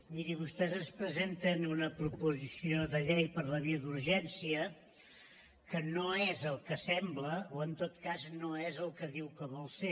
miri vostès ens presenten una proposició de llei per la via d’urgència que no és el que sembla o en tot cas no és el que diu que vol ser